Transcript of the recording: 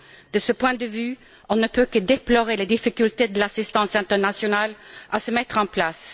De ce point de vue, on ne peut que déplorer les difficultés de l'assistance internationale à se mettre en place.